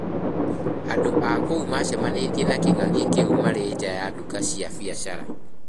Andũ a kũu maacemanĩtie na Kĩng'ang'i kĩu marĩ nja ya nduka cia biacara.